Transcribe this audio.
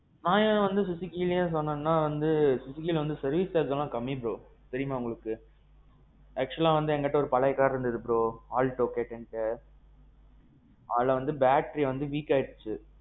நான் ஏன் suzukiலேயே சொன்னேன்னா வந்து engine வந்து service charge எல்லாம் கம்மி bro. தெரியுமா உங்களுக்கு? actualஆ வந்து எங்க கிட்ட ஒரு பழைய car இருந்தது bro. Alto K ten சொல்லி. அதுல வந்து battery வந்து weak ஆயிடிச்சு.